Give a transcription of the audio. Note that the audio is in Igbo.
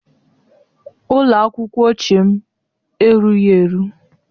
Ụlọ akwụkwọ ochie m erughị eru